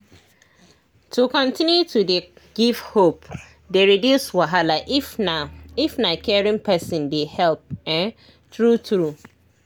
to continue to dey give hope dey reduce wahala if na if na caring person dey help[um]true true